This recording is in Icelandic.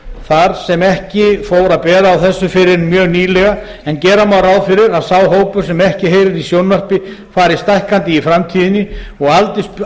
fór að bera á þessu fyrr en mjög nýlega en gera má ráð fyrir að sá hópur sem ekki heyrir í sjónvarpi fari stækkandi í framtíðinni og